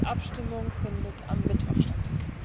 Die Abstimmung findet am Mittwoch statt.